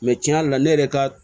tiɲɛ yɛrɛ la ne yɛrɛ ka